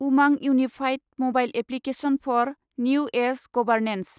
उमां unified mobile application for new age governance